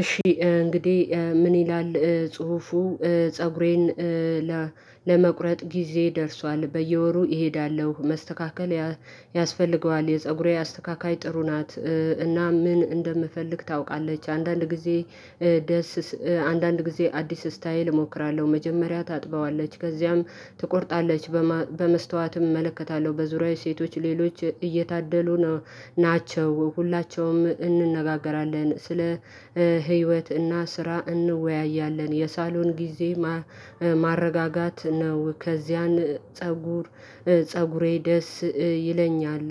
እሺ እንግዲህ ምን ይላል ጽሁፉ ፀጉሬን ለመቁረጥ ጊዜ ደርሷል። በየወሩ እሄዳለሁ፣ መስተካከል ያስፈልገዋል፣ የፀጉሬ አስተካካይ ጥሩ ናት እና ምን እንደምፈልግ ታውቃለች አንዳንድ ጊዜ ደስ አንዳንድ ጊዜ አዲስ ስታይል እሞክራለሁ፣ መጀመሪያ ታጥበዋለች ከዚያም ትቆርጣለች በመስታወትም እመለከታለሁ፣ በዙሪያዬ ሴቶች ሌሎች እየታደሉ ነው ናቸው። ሁላቸውም እንነጋገራለን ስለ እና ስራ እንወያያለን የሳሎን ጊዜ ማረጋጋት ነው ከዚያን ፀጉር ፀጉሬ ደስ ይለኛል።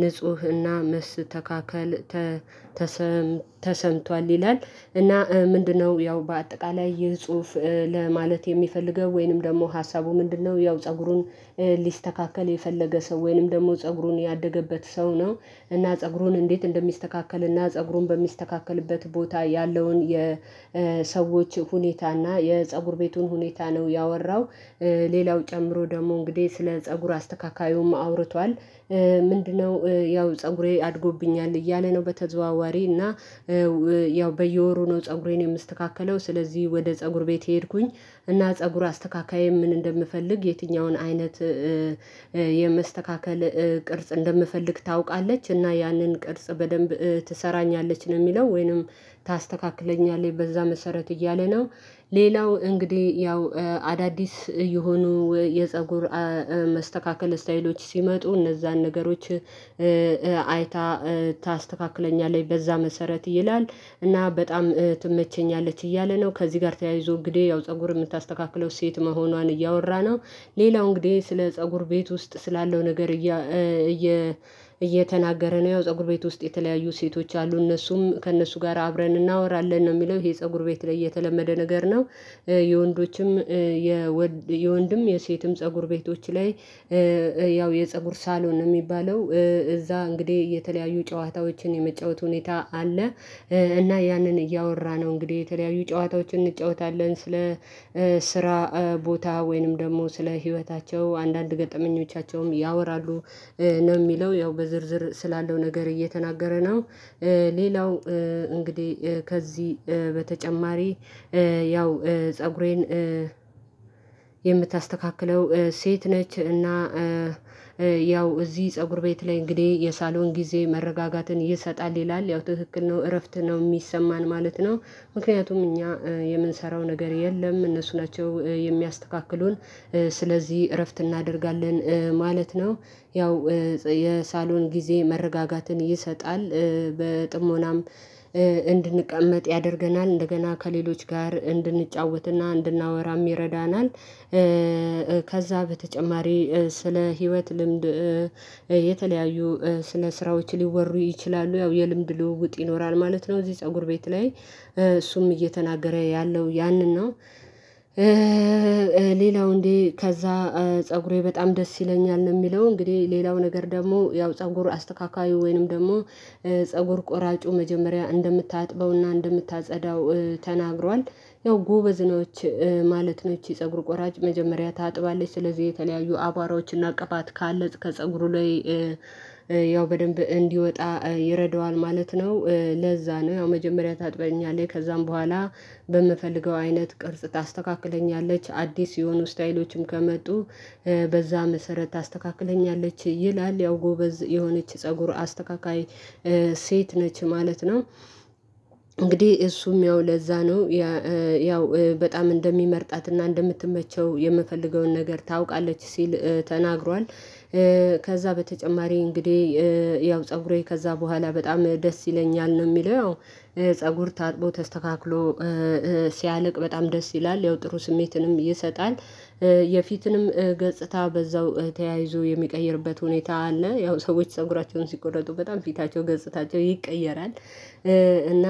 ንፁህና መስ መስተካከል ተሰምቷል ይላል እና ምንድነው ያው በአጠቃላይ የጽሁፍ ለማለት የሚፈልገው ወይንም ደግሞ ሀሳቡ ምንድነው ያው ፀጉሩን ሊስተካከል የፈለገ ሰው ወይንም ደግሞ ፀጉሩን ያደገበት ሰው ነው እና ፀጉሩን እንዴት እንደሚስተካከል እና ፀጉሩን በሚስተካከልበት ቦታ ያለውን የሰዎች ሁኔታና የፀጉር ቤቱን ሁኔታ ነው ያወራው ሌላው ጨምሮ ደግሞ እንግዲህ ስለ ፀጉር አስተካካዩም አውርቷል ምንድነው ያው ፀጉሬ አድጎብኛል እያለ ነው። በተዘዋዋሪ እና ያው በየወሩ ነው ፀጉሬን የምስተካከለው ስለዚህ ወደ ፀጉር ቤት ሄድኩኝ እና ፀጉር አስተካካይ ምን እንደምፈልግ የትኛውን አይነት የመስተካከል ቅርጽ እንደምፈልግ ታውቃለች እና ያንን ቅርጽ በደንብ ትሰራኛለች ነው የሚለው ወይንም ታስተካክለኛለህ በዛ መሰረት እያለ ነው። ሌላው እንግዲህ ያው አዳዲስ የሆኑ የፀጉር መስተካከል ስታይሎች ሲመጡ እነዛን ነገሮች አይታ ታስተካክለኛለች በዛ መሰረት ይላል እና በጣም ትመቸኛለች እያለ ነው ከዚህ ጋር ተያይዞ እንግዲህ ያው ፀጉር የምታስተካክለው ሴት መሆኗን እያወራ ነው። ሌላው እንግዲህ ስለ ፀጉር ቤት ውስጥ ስላለው ነገር እየ እየተናገረ ነው ያው ፀጉር ቤት ውስጥ የተለያዩ ሴቶች አሉ እነሱም ከእነሱ ጋር አብረን እናወራለን ነው የሚለው ይሄ ፀጉር ቤት ላይ የተለመደ ነገር ነው። የወንዶችም የወንድም የሴትም ፀጉር ቤቶች ላይ ያው የፀጉር ሳሎን ነው የሚባለው እዛ እንግዲህ የተለያዩ ጨዋታዎችን የመጫወት ሁኔታ አለ። እና ያንን እያወራ ነው እንግዲህ የተለያዩ ጨዋታዎችን እንጫወታለን ስለ ስራ ቦታ ወይንም ደግሞ ስለ ህይወታቸው አንዳንድ ገጠመኞቻቸውም ያወራሉ ነው የሚለው ያው በዝርዝር ስላለው ነገር እየተናገረ ነው። ሌላው እንግዲህ ከዚህ በተጨማሪ ያው ፀጉሬን የምታስተካክለው ሴት ነች እና ያው እዚህ ፀጉር ቤት ላይ እንግዲህ የሳሎን ጊዜ መረጋጋትን ይሰጣል ይላል ያው ትክክል ነው። እረፍት ነው የሚሰማን ማለት ነው ምክንያቱም እኛ የምንሰራው ነገር የለም እነሱ ናቸው የሚያስተካክሉን ስለዚህ እረፍት እናደርጋለን ማለት ነው። ያው የሳሎን ጊዜ መረጋጋትን ይሰጣል በጥሞናም እንድንቀመጥ ያደርገናል እንደገና ከሌሎች ጋር እንድንጫወትና እንድናወራ ይረዳናል ከዛ በተጨማሪ ስለ ህይወት ልምድ የተለያዩ ስለ ስራዎች ሊወሩ ይችላሉ ያው የልምድ ልውውጥ ይኖራል ማለት ነው እዚህ ፀጉር ቤት ላይ እሱም እየተናገረ ያለው ያንን ነው። ሌላው እንዴ ከዛ ፀጉሬ በጣም ደስ ይለኛል ነው የሚለው እንግዲህ ሌላው ነገር ደግሞ ያው ፀጉር አስተካካዩ ወይንም ደግሞ ፀጉር ቆራጩ መጀመሪያ እንደምታጥበውና እንደምታጸዳው ተናግሯል ያው ጎበዝነች ማለት ነው። ይቺ ፀጉር ቆራጭ መጀመሪያ ታጥባለች ስለዚህ የተለያዩ አቧራዎችን አቀፋት ካለጽ ከፀጉሩ ላይ ያው በደንብ እንዲወጣ ይረዳዋል ማለት ነው። ለዛ ነው ያው መጀመሪያ ታጥበኛለህ ከዛም በኋላ በምፈልገው አይነት ቅርጽ ታስተካክለኛለች አዲስ የሆኑ ስታይሎችም ከመጡ በዛ መሰረት ታስተካክለኛለች ይላል ያው ጎበዝ የሆነች ፀጉር አስተካካይ ሴት ነች ማለት ነው። እንግዲህ እሱም ያው ለዛ ነው ያው በጣም እንደሚመርጣትና እንደምትመቸው የምፈልገውን ነገር ታውቃለች ሲል ተናግሯል። ከዛ በተጨማሪ እንግዲህ ያው ፀጉሬ ከዛ በኋላ በጣም ደስ ይለኛል ነው የሚለው ያው ፀጉር ታጥቦ ተስተካክሎ ሲያልቅ በጣም ደስ ይላል ያው ጥሩ ስሜትንም ይሰጣል። የፊትንም ገጽታ በዛው ተያይዞ የሚቀይርበት ሁኔታ አለ ያው ሰዎች ፀጉራቸውን ሲቆረጡ በጣም ፊታቸው ገፅታቸው ይቀየራል እና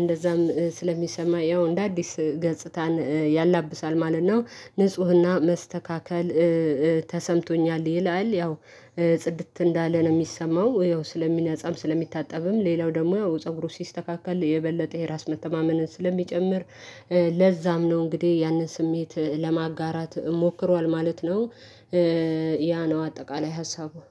እንደዛም ስለሚሰማ ያው እንደ አዲስ ገጽታን ያላብሳል ማለት ነው። ንፁህና መስተካከል ተሰምቶኛል ይላል ያው ጽድት እንዳለ ነው የሚሰማው ያው ስለሚነጻም ስለሚታጠብም ሌላው ደግሞ ፀጉሩ ሲስተካከል የበለጠ የራስ መተማመንን ስለሚጨምር ለዛም ነው እንግዲህ ያንን ስሜት ለማጋራት ሞክሯል ማለት ነው። ያ ነው አጠቃላይ ሀሳቡ።